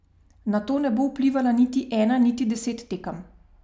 Na to ne bo vplivala niti ena niti deset tekem.